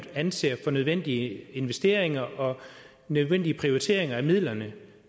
anser for nødvendige investeringer og nødvendige prioriteringer af midlerne